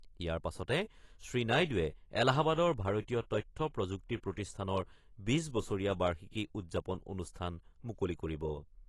ইয়াৰ পাছতে শ্ৰীনাইডুৱে এলাহাবাদৰ ভাৰতীয় তথ্য প্ৰযুক্তি প্ৰতিষ্ঠানৰ ২০ বছৰীয়া বাৰ্ষিকী উদযাপন অনুষ্ঠান মুকলি কৰিব।